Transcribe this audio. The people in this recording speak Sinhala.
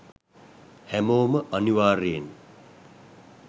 හැමෝම අනිවාර්යෙන්